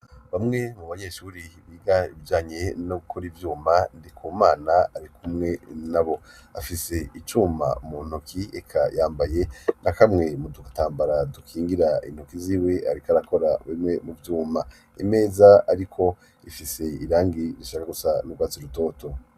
Bamwe mu banyeshuri biga ibijanye no gukora ivyuma, Ndikumana ari kumwe nabo. Afise icuma mu ntoki, eka yambaye na kamwe mu dutambara dukingira intoki ziwe ariko arakora bimwe mu vyuma . Imeza ariko ifise irangi rishaka gusa n'urwatsi rutoto.